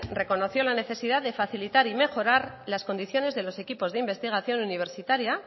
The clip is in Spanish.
reconoció la necesidad de facilitar y mejorar las condiciones de los equipos de investigación universitaria